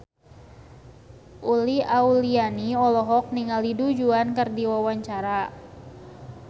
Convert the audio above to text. Uli Auliani olohok ningali Du Juan keur diwawancara